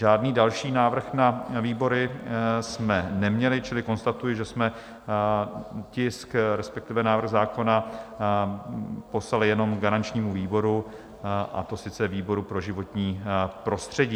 Žádný další návrh na výbory jsme neměli, čili konstatuji, že jsme tisk, respektive návrh zákona, poslali jenom garančnímu výboru, a to sice výboru pro životní prostředí.